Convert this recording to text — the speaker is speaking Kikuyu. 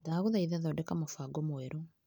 Ndagũthaitha thondeka mũbango mwerũ .